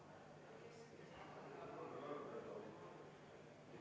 EKRE fraktsiooni võetud vaheaeg on lõppenud.